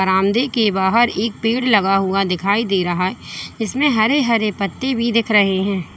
बरामदे के बाहर एक पेड़ लगा हुआ दिखाई दे रहा है जिसमें हरे हरे पत्ते भी दिख रहे हैं।